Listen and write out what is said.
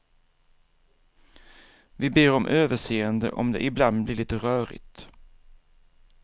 Vi ber om överseende om det ibland blir lite rörigt.